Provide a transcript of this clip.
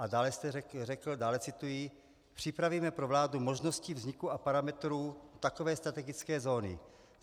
A dále jste řekl - opět cituji: "Připravíme pro vládu možnosti vzniku a parametrů takové strategické zóny.